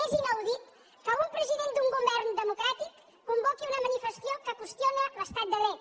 és inaudit que un president d’un govern democràtic convoqui una manifestació que qüestiona l’estat de dret